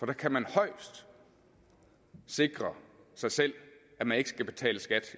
der kan man højst sikre sig selv at man ikke skal betale skat